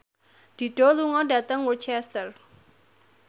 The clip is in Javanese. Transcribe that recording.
Dido lunga dhateng Worcester